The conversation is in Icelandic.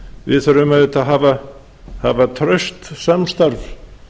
við þurfum auðvitað að hafa traust samstarf